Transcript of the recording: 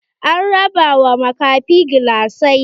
An raba wa makafi gilasai.